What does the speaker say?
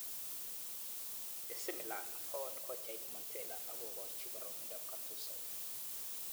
AC Milan koon kochait Montella ak kokochi boroindo Gattuso.